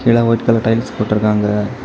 கீழ white colour tiles போட்டு இருக்காங்க.